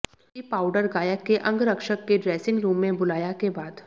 कि पाउडर गायक के अंगरक्षक के ड्रेसिंग रूम में बुलाया के बाद